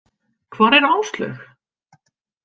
Hvar er Áslaug?